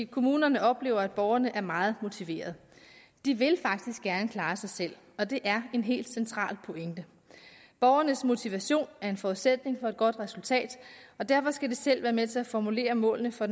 kommunerne oplever at borgerne er meget motiveret de vil faktisk gerne klare sig selv og det er en helt central pointe borgernes motivation er en forudsætning for et godt resultat og derfor skal de selv være med til at formulere målene for